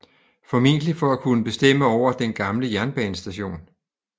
Formentlig for at kunne bestemme over den gamle jernbanestation